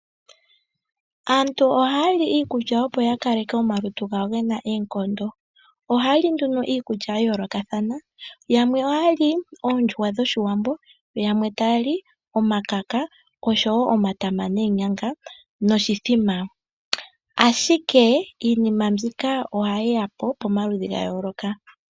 Aantu ohaya li iikulya opo ya kaleke omalutu gawo gena oonkondo. Ohaya li nduno iikulya ya yoolokathana, yamwe ohaya li oondjuhwa dhoshiwambo, yo yamwe taya li omakaka oshowo omatama noonyanga noshithima. Ashike iinima mbika ohayi ya po pamaludhi ga yooloka.